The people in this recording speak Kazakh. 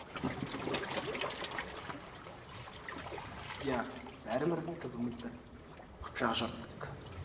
иә бәріміздің түбіміз бір қыпшақ жұрты едік